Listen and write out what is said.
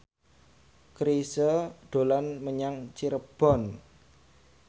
Chrisye dolan menyang Cirebon